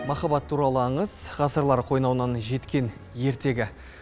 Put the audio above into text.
махаббат туралы аңыз ғасырлар қойнауынан жеткен ертегі